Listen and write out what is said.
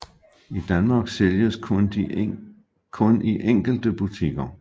I Danmark sælges de kun i enkelte butikker